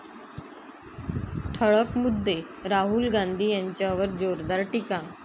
ठळक मुद्दे राहूल गांधी यांच्यावर जोरदार टीका